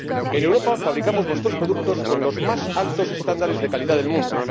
En Europa fabricamos nuestros productos con los más altos estándares de calidad del mundo.